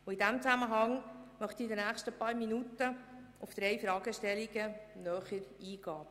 In diesem Zusammenhang möchte ich in den nächsten paar Minuten auf drei Fragestellungen näher eingehen.